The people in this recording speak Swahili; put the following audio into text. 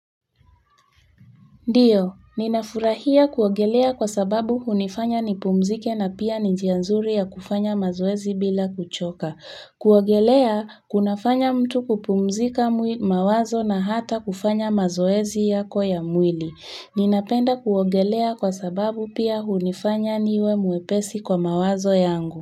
Ndio, ninafurahia kuogelea kwa sababu hunifanya nipumzike na pia ni njia nzuri ya kufanya mazoezi bila kuchoka. Kuogelea, kunafanya mtu kupumzika mawazo na hata kufanya mazoezi yako ya mwili. Ninapenda kuogelea kwa sababu pia hunifanya niwe mwepesi kwa mawazo yangu.